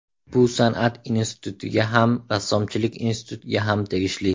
Bu San’at institutiga ham, Rassomchilik institutiga ham tegishli.